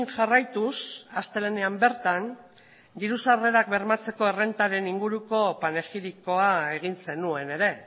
jarraituz astelehenean bertan diru sarrerak bermatzeko errentaren inguruko panegirikoa egin zenuen ere